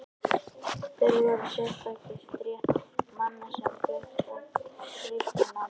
Þörf varð á sérstakri stétt manna sem fékkst við að reikna.